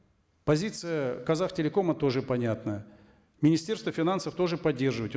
позиция казахтелекома тоже понятная министерство финансов тоже поддерживаете